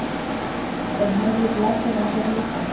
Er Henrik Larsson á þeim lista?